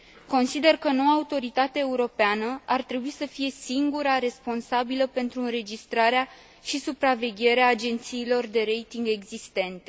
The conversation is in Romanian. Consider că noua autoritate europeană ar trebui să fie singura responsabilă pentru înregistrarea și supravegherea agențiilor de rating existente.